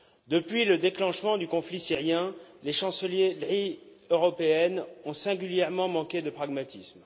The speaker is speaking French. Depuis le déclenchement du conflit syrien, les chancelleries européennes ont singulièrement manqué de pragmatisme.